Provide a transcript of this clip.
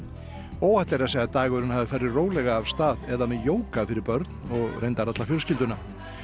óhætt er að segja að dagurinn hafi farið rólega af stað eða með jóga fyrir börn og reyndar alla fjölskylduna